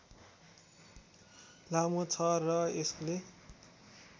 लामो छ र यसले